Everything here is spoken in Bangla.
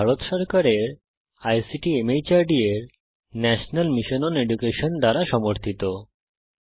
এটি ভারত সরকারের আইসিটি মাহর্দ এর ন্যাশনাল মিশন ওন এডুকেশন দ্বারা সমর্থিত